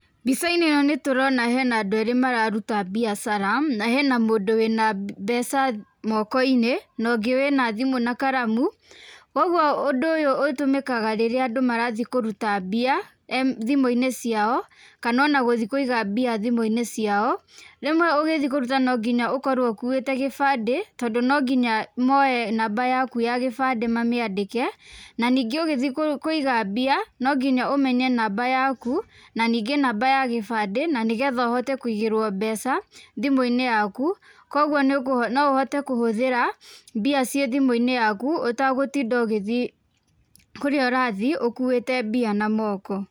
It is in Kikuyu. Mbica-inĩ ĩno nĩtũrona hena andũ erĩ mararuta mbiacara, na hena mũndũ wĩna mbeca moko-inĩ, na ũngĩ wĩna thimũ na karamu, koguo ũndũ ũyũ ũtũmĩkaga rĩrĩa andũ marathiĩ kũruta mbia, thimu-inĩ ciao, kana ona gũthiĩ kũiga mbia thimũ-inĩ ciao, rĩmwe ũgĩthiĩ kũruta no nginya ũkorwo ũkuĩte gĩbandĩ, tondũ no nginya moe namba yaku ya gĩbandĩ mamĩandĩke, na ningĩ ũgĩthiĩ kũiga mbia, no nginya ũmenye namba yaku, na ningĩ namba ya gĩbandĩ, na nĩgetha ũhote kũigĩrwo mbeca thimũ-inĩ yaku, koguo no ũhote kũhũthĩra mbia ciĩ thimũ-inĩ yaku, ũtegũtinda ũgĩthiĩ kũrĩa ũrathiĩ ũkuĩte mbia na moko.